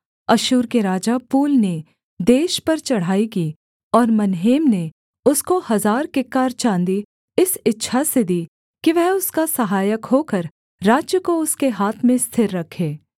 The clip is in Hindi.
अश्शूर के राजा पूल ने देश पर चढ़ाई की और मनहेम ने उसको हजार किक्कार चाँदी इस इच्छा से दी कि वह उसका सहायक होकर राज्य को उसके हाथ में स्थिर रखे